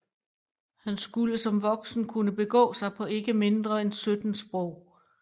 Han skulle som voksen kunne begå sig på ikke mindre end 17 sprog